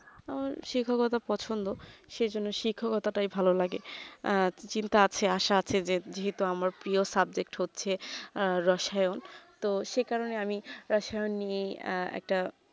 ওর শিক্ষ টা তো পছন্দ সেই জন্য শিখরও কথা তাই ভাল লাগে চিন্তা আছে আশা আছে বেদবিও তো আমার প্রিয় subject হচ্ছে রসায়ন তো সেই কারণে আমি রসায়ন নিয়ে এই একটা